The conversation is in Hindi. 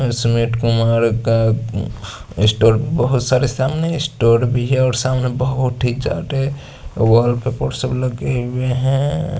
सुमिट कुमार का स्टोर बहत सारे सामने स्टोर भी है और सामने बहत ही बोहत ही ज्यादा वाल पे पोस्टर भी लगे है।